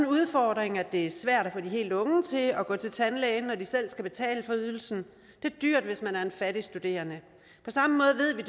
udfordring at det er svært at få de helt unge til at gå til tandlæge når de selv skal betale for ydelsen det er dyrt hvis man er en fattig studerende på samme måde ved vi